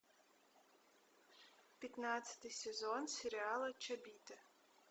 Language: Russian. пятнадцатый сезон сериала чобиты